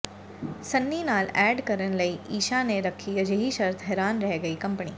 ਸੰਨੀ ਨਾਲ ਐਡ ਕਰਨ ਲਈ ਈਸ਼ਾ ਨੇ ਰੱਖੀ ਅਜਿਹੀ ਸ਼ਰਤ ਹੈਰਾਨ ਰਹਿ ਗਈ ਕੰਪਨੀ